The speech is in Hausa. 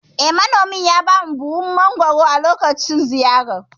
Eh, Manomin ya bamu buhu cike da mangoro a lokacin ziyarar.